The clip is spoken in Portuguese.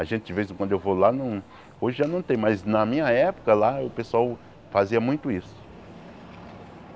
A gente, de vez em quando, eu vou lá no... Hoje já não tem, mas na minha época lá, o pessoal fazia muito isso.